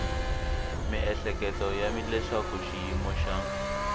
miehleketo ya leswaku xiyimo xa